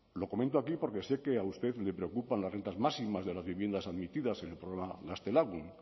lo comento aquí porque sé que a usted le preocupan las rentas máximas de las viviendas admitidas en el programa gaztelagun